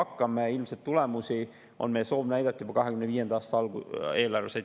Meie soov on näidata tulemusi ilmselt juba 2025. aasta eelarves.